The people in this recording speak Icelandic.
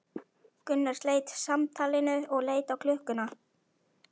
Gunnar sleit samtalinu og leit á klukkuna.